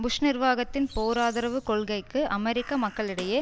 push நிர்வாகத்தின் போர் ஆதரவு கொள்கைக்கு அமெரிக்க மக்களிடையே